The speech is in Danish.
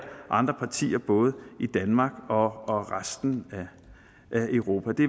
andre partier både i danmark og resten af europa det